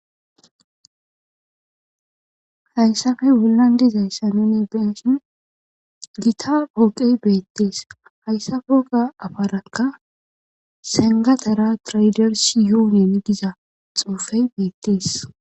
hayssafe bollan dizayssanon egdenshin gita pooqey beettees hayssa foga afarakka sengatera traydersi yuunyen giza xoofey beettees